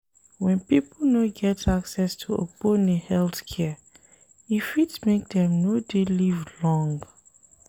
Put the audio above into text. When pipo no get access to ogbone health care, e fit make dem no dey live long